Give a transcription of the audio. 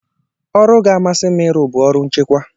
Ọrụ ga-amasị m ịrụ bụ ọrụ nchekwa